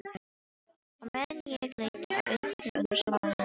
Á meðan ég leita að einhverju öðru svaraði Ragnhildur.